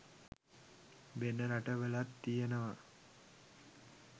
වෙන රට වලත් තියනවා.